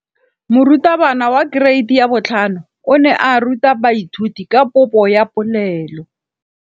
Moratabana wa kereiti ya 5 o ne a ruta baithuti ka popô ya polelô.